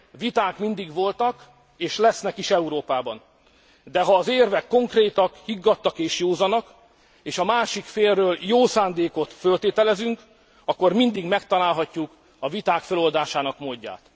Viták mindig voltak és lesznek is Európában, de ha az érvek konkrétak, higgadtak és józanak és a másik félről jó szándékot föltételezünk, akkor mindig megtalálhatjuk a viták föloldásának módját.